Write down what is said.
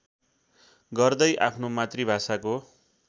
गर्दै आफ्नो मातृभाषाको